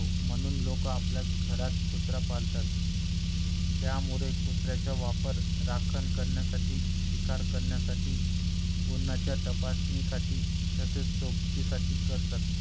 म्हणूनच लोक आपल्या घरात कुत्रा पालतात त्यामुळे कुत्र्याचा वापर राखण करण्यासाठी शिकार करण्यासाठी गुन्ह्यांच्या तपासणीसाठी तसेच सोबतीसाठी करतात